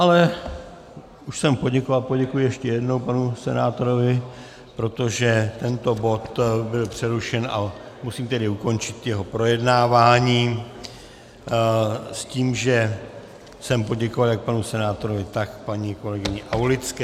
Ale už jsem poděkoval, poděkuji ještě jednou panu senátorovi, protože tento bod byl přerušen, a musím tedy ukončit jeho projednávání s tím, že jsem poděkoval jak panu senátorovi, tak paní kolegyni Aulické.